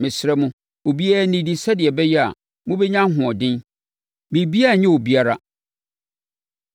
Mesrɛ mo, obiara nnidi sɛdeɛ ɛbɛyɛ a, mobɛnya ahoɔden. Biribiara renyɛ obiara.”